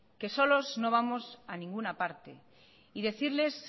que solos no vamos a ninguna parte y decirles